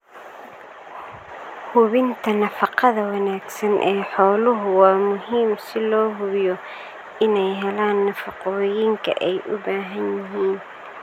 Hubinta nafaqada wanaagsan ee xooluhu waa muhiim si loo hubiyo inay helaan nafaqooyinka ay u baahan yihiin.